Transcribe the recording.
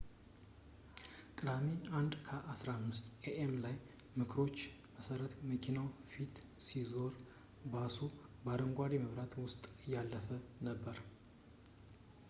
ቅዳሜ 1:15 ኤ.ኤም ላይ በምስክሮች መሠረት መኪናው ከፊቱ ሲዞር ባሱ በአረንጓዴ መብራት ውስጥ እያለፈ ነበር